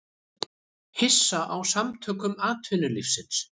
Hissa á Samtökum atvinnulífsins